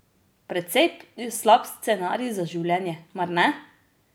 Precej slab scenarij za življenje, mar ne?